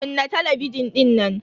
Kunna talabijin dinnan.